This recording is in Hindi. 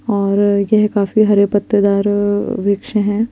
और यह काफी हरे पत्तेदार वृक्ष हैं।